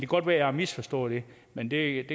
godt være jeg har misforstået det men det